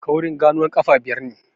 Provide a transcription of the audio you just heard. Kaurin ganuwar ƙafa biyar ne.